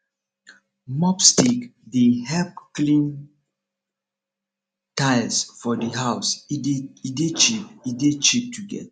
mob stick dey help clean tiles for di house e dey cheap e dey cheap to get